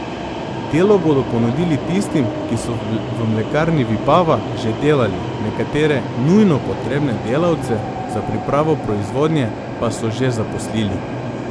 Delo bodo ponudili tistim, ki so v mlekarni Vipava že delali, nekatere nujno potrebne delavce za pripravo proizvodnje pa so že zaposlili.